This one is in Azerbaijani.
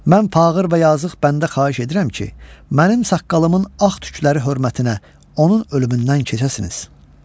Mən fağır və yazıq bəndə xahiş edirəm ki, mənim saqqalımın ağ tükləri hörmətinə onun ölümündən keçəsiniz.